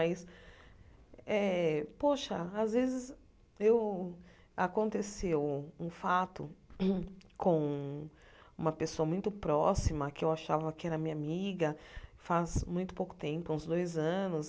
Mas eh poxa às vezes eu, aconteceu um fato com uma pessoa muito próxima que eu achava que era minha amiga, faz muito pouco tempo, uns dois anos.